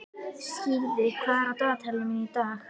Skíði, hvað er á dagatalinu mínu í dag?